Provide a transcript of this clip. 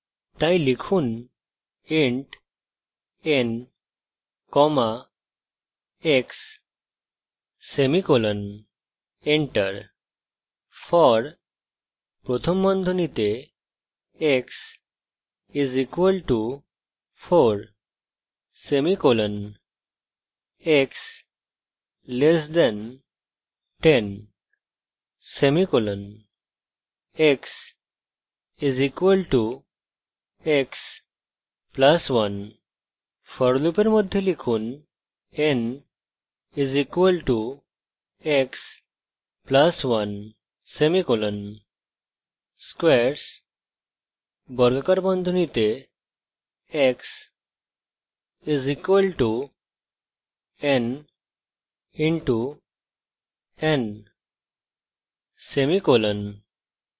তাই লিখুন